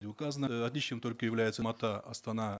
не указано э отличием только является астана